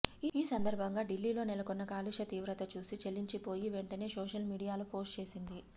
ఈ సందర్భంగా ఢిల్లీలో నెలకొన్న కాలుష్య తీవ్రత చూసి చలించిపోయి వెంటనే సోషల్ మీడియాలో పోస్ట్ చేసింది